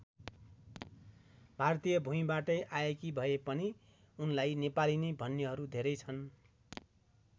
भारतीय भूमिबाटै आएकी भए पनि उनलाई नेपाली नै भन्नेहरू धेरै छन्।